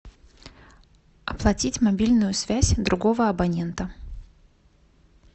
оплатить мобильную связь другого абонента